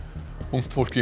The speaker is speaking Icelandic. ungt fólk í